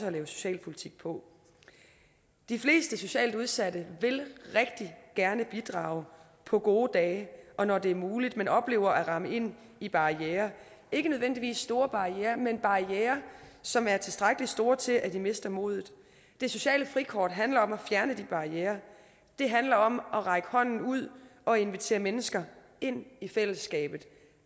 at lave socialpolitik på de fleste socialt udsatte vil rigtig gerne bidrage på gode dage og når det er muligt men oplever at ramle ind i barrierer ikke nødvendigvis store barrierer men barrierer som er tilstrækkelig store til at de mister modet det sociale frikort handler om at fjerne de barrierer det handler om at række hånden ud og invitere mennesker ind i fællesskabet